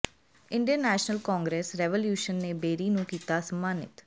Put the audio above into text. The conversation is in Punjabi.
ਇੰਡੀਅਨ ਨੈਸ਼ਨਲ ਕਾਂਗਰਸ ਰੈਵੋਲਿਊਸ਼ਨ ਨੇ ਬੇਰੀ ਨੂੰ ਕੀਤਾ ਸਨਮਾਨਿਤ